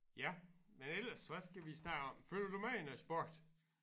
Ja men ellers hvad skal vi snakke om følger du med i noget sport?